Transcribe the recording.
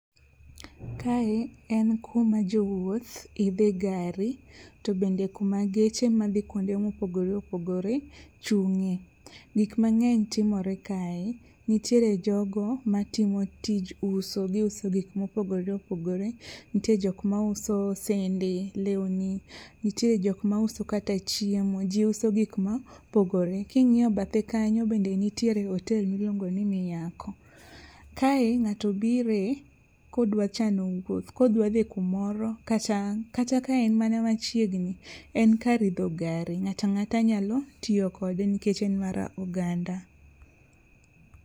Kae en kuma jowuoth idhe gari to bende kuma geche madhi kuma opogore opogore chung'e. Gikmang'eny timore kae, nitiere jogo matimo tij uso, giuso gik mopogore opogore nitie jokma uso sende lewni, nitiere jokmauso kata chiemo ji uso gikma opogore. King'iyo bathe kanyo bende nitiere otel miluongo ni Miako. Kae ng'ato bire kodwa chano wuoth kodwa dhi kumoro kata ka en mana machiegni en kar idho gari ng'atang'ata nyalo tiyo kode nikech en mar oganda.